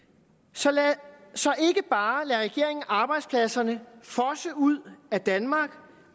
så ikke bare lader regeringen arbejdspladserne fosse ud af danmark